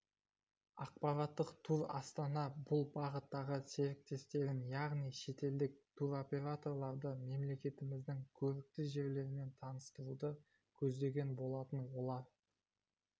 ақпараттық тур астана бұл бағыттағы серіктестерін яғни шетелдік туроператорларды мемлекетіміздің көрікті жерлерімен таныстыруды көздеген болатын олар